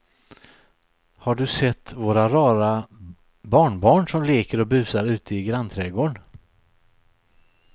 Har du sett våra rara barnbarn som leker och busar ute i grannträdgården!